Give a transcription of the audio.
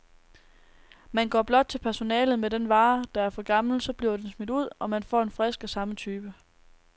Man går blot til personalet med den vare, der er for gammel, så bliver den smidt ud, og man får en frisk af samme type.